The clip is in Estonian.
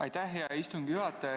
Aitäh, hea istungi juhataja!